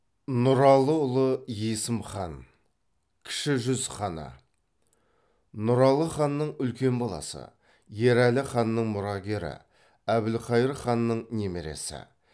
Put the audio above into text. нұралыұлы есім хан кіші жүз ханы нұралы ханның үлкен баласы ерәлі ханның мұрагері әбілқайыр ханның немересі